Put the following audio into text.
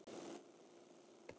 Hún mat það mikils.